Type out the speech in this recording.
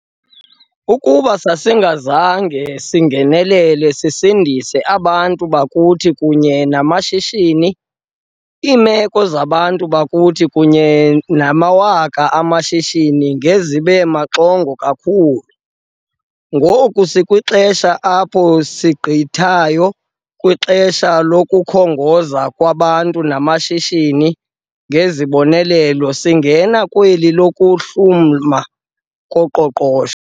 Ukuba sasingazange singenelele sisindise abantu bakuthi kunye namashishini, iimeko zabantu bakuthi kunye nezamawaka amashishini ngezibe maxongo kakhulu. Ngoku sikwixesha apho sigqithayo kwixesha lokukhongoza kwabantu namashishini ngezibonelelo singena kweli lokuhluma koqoqosho.